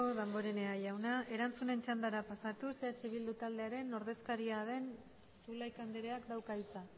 damborenea jauna erantzunen txandara pasatuz eh bildu taldearen ordezkaria den zulaika andreak dauka hitza